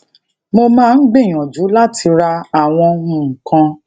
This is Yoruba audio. mo máa ń gbìyànjú láti ra àwọn nǹkan